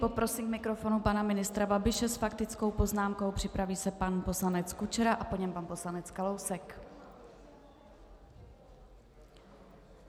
Poprosím k mikrofonu pana ministra Babiše s faktickou poznámkou, připraví se pan poslanec Kučera a po něm pan poslanec Kalousek.